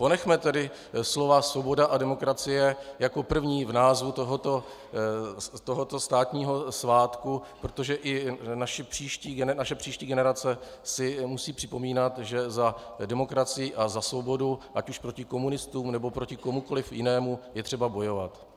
Ponechme tedy slova svoboda a demokracie jako první v názvu tohoto státního svátku, protože i naše příští generace si musí připomínat, že za demokracii a za svobodu, ať už proti komunistům, nebo proti komukoliv jinému, je třeba bojovat.